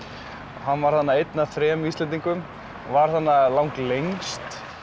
hann var þarna einn af þremur Íslendingum og var þarna lang lengst